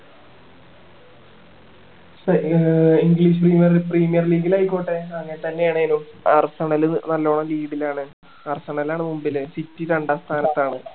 പക്ഷെ ആഹ് english premier premier league ലായിക്കോട്ടെ അങ്ങനെ തന്നെ ആണെനു ആണേലും നല്ലോണം lead ലാണ് ലാണ് മുൻപില് city രണ്ടാം സ്ഥാനത്ത് ആണ്